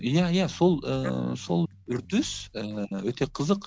иә иә сол ііі сол үрдіс ііі өте қызық